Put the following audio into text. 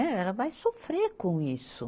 Ela vai sofrer com isso.